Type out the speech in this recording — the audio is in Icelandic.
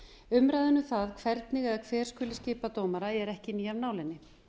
umræðan um það hvernig eða hver skuli skipa dómara er ekki ný af nálinni